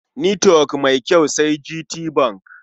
Netwok mai kyau sai GTBank.